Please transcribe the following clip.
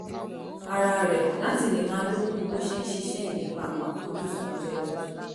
ara rẹ̀ láti lè máa lókun bó ṣe ń ṣiṣẹ́ ìlépa àwọn àfojúsùn ọjọ́ iwájú